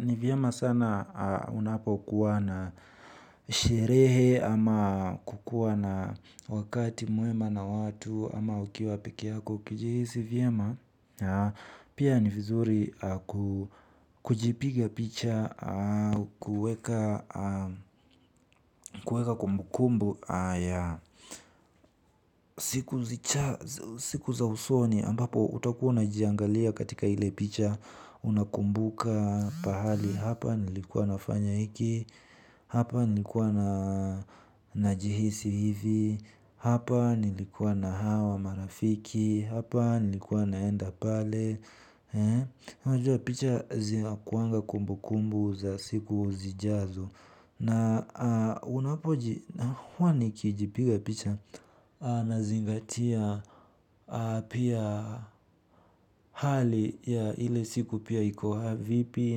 Ni vyema sana unapo kuwa na sherehe ama kukuwa na wakati mwema na watu ama ukiwa peke yako. Kujihisi vyema pia ni vizuri kujipiga picha kuweka kumbukumbu ya siku za usoni ambapo utakuwa unajiangalia katika ile picha. Unakumbuka pahali hapa nilikuwa nafanya hiki. Hapa nilikuwa na najihisi hivi. Hapa nilikuwa na hawa marafiki. Hapa nilikuwa naenda pale unajua picha zinakuaga kumbukumbu za siku zijazo na unapo huwa nikijipiga picha nzingatia pia hali ya ile siku pia iko vipi.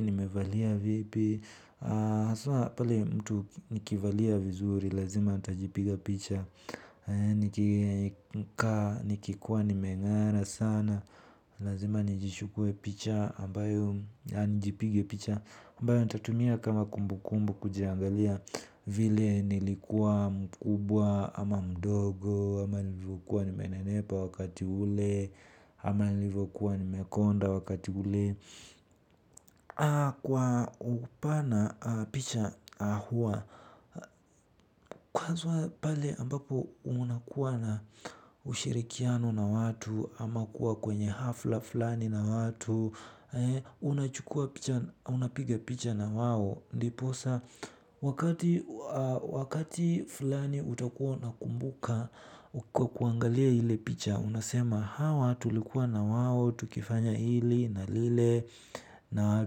Nimevalia vipi haswa pale mtu nikivalia vizuri. Lazima utajipiga picha. Nikikuwa nime ng'ara sana lazima nijichukue picha. Nijipige picha ambayo nitatumia kama kumbukumbu kujiangalia. Vile nilikua mkubwa ama mdogo ama nilivyo kuwa nime nenepa wakati ule ama nilivyokuwa ni mekonda wakati ule. Kwa upana picha hua. Kwanza pale ambapo unakuwa na ushirikiano na watu ama kuwa kwenye hafla fulani na watu. Unapiga picha na wao. Ndiposa wakati fulani utakuwa na kumbuka. Kwa kuangalia ile picha, unasema hawa tulikuwa na wawo, tukifanya hili, na lile, na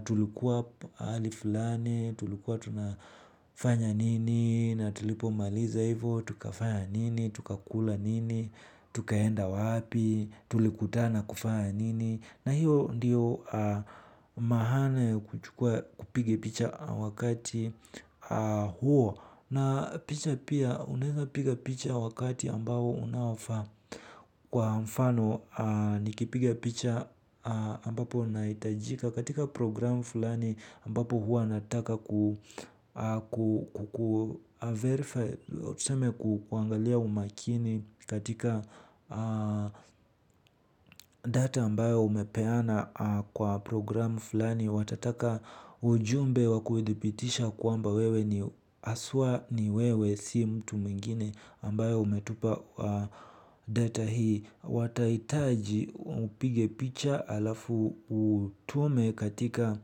tulikuwa hali fulani, tulikuwa tunafanya nini, na tulipo maliza hivo, tukafanya nini, tukakula nini, tukaenda wapi, tulikutaa kufanya nini. Na hiyo ndiyo maana ya kuchukua kupiga picha wakati huo. Na picha pia unaweza piga picha wakati ambao unaofaa. Kwa mfano nikipiga picha ambapo nahitajika katika program fulani ambapo hua nataka ku Verify tuseme kuangalia umakini katika data ambayo umepeana kwa programu fulani. Watataka ujumbe wa kuhithibitisha kwamba wewe ni haswa ni wewe si mtu mengine ambayo umetupa data hii. Watahitaji upige picha alafu utume katika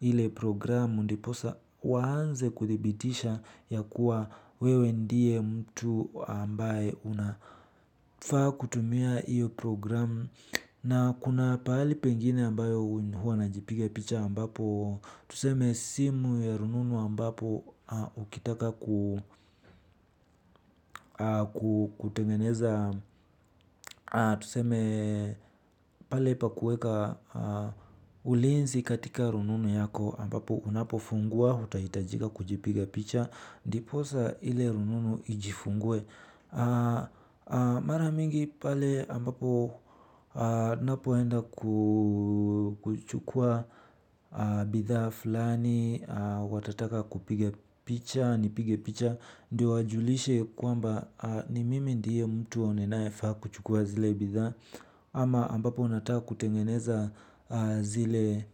ile programu ndipo sa waanze kuthibitisha ya kuwa wewe ndie mtu ambaye unafaa kutumia iyo programu. Na kuna pahali pengine ambayo huwa najipiga picha ambapo. Tuseme simu ya rununu ambapo ukitaka kutengeneza. Tuseme pale pa kueka ulinzi katika rununu yako ambapo unapo fungua uta hitajika kujipiga picha ndiposa ile rununu ijifungwe. Mara mingi pale ambapo napo enda kuchukua bidhaa fulani. Watataka kupiga picha, nipige picha ndiyo wajulishe kwamba ni mimi ndiye mtu ninae faa kuchukua zile bidhaa ama ambapo unataka kutengeneza zile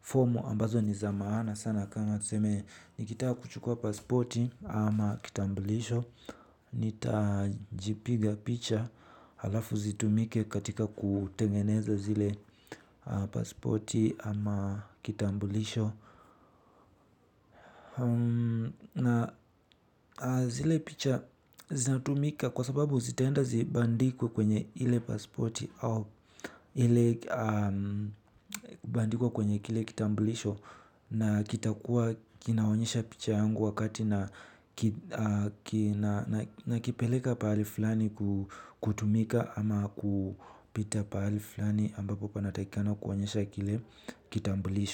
fomu ambazo niza maana sana tuseme nikitaka kuchukua paspoti ama kitambulisho nita jipiga picha halafu zitumike katika kutengeneza zile paspoti ama kitambulisho. Na zile picha zina tumika kwa sababu zitaenda zibandikwe kwenye ile pasporti. Ile kubandikwa kwenye kile kitambuliso na kitakuwa kinaonyesha picha yangu wakati nakipeleka pahali fulani kutumika ama kupita pahali fulani ambapo panatakikana kuonyesha kile kitambuliso.